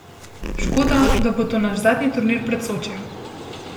Škoda, da bo to naš zadnji turnir pred Sočijem.